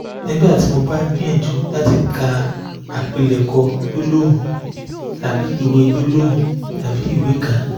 nígbà tí mo bá gbìyànjú láti ka àpilẹ̀kọ gbólóhùn tàbí ìwé gbólóhùn tàbí ìwé kan